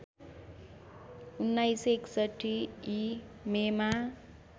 १९६१ ई मेमा